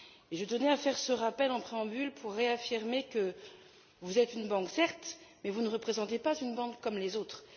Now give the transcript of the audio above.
Je tenais à faire ce rappel en préambule pour réaffirmer que vous êtes une banque, certes, mais que vous ne représentez pas une banque comme les autres.